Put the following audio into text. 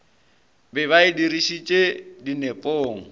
be ba e dirišetše dinepong